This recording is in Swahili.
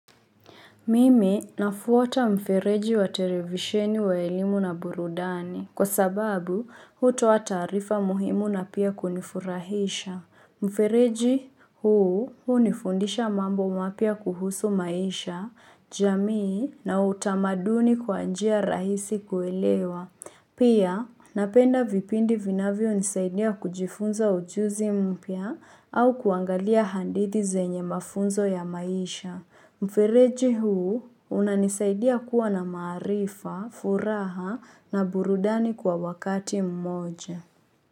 Mimi nafuata mfereji wa televisheni wa elimu na burudani kwa sababu hutoa taarifa muhimu na pia kunifurahisha. Mfereji huu hunifundisha mambo mapya kuhusu maisha, jamii na utamaduni kwa njia rahisi kuelewa. Pia napenda vipindi vinavyo nisaidia kujifunza ujuzi mpya au kuangalia hadithi zenye mafunzo ya maisha. Mfireji huu unanisaidia kuwa na maarifa, furaha na burudani kwa wakati mmoja.